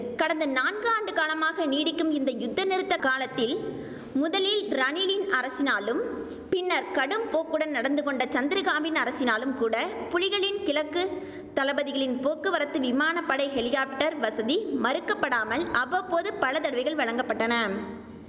கடந்த நான்கு ஆண்டு காலமாக நீடிக்கும் இந்த யுத்த நிறுத்த காலத்தில் முதலில் ரணிலின் அரசினாலும் பின்னர் கடும் போக்குடன் நடந்து கொண்ட சந்திரிகாவின் அரசினாலும் கூட புலிகளின் கிழக்கு தளபதிகளின் போக்குவரத்து விமான படை ஹெலிகாப்டர் வசதி மறுக்கப்படாமல் அவ்வப்போது பல தடவைகள் வழங்க பட்டன